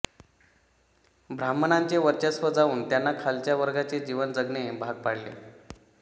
ब्राह्मणांचे वर्चस्व जाऊन त्यांना खालच्या वर्गाचे जीवन जगणे भाग पडले